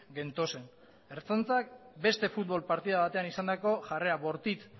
gentozen ertzantzak beste futbol partidu batean izandako jarrera bortitz